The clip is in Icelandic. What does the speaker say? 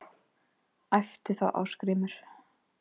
æpti þá Ásgrímur